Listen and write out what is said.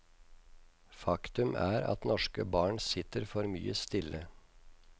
Faktum er at norske barn sitter for mye stille.